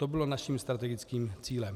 To bylo naším strategickým cílem.